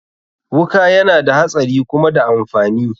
Wuka yana da hatsari kuma da amfani.